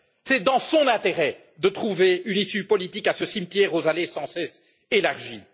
C'est dans son intérêt de trouver une issue politique à ce cimetière aux allées sans cesse élargies.